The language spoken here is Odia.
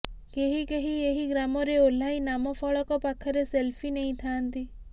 କେହି କେହି ଏହି ଗ୍ରାମରେ ଓହ୍ଲାଇ ନାମ ଫଳକ ପାଖରେ ସେଲ୍ଫି ନେଇଥାନ୍ତି